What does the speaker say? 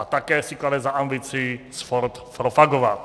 A také si klade za ambici sport propagovat.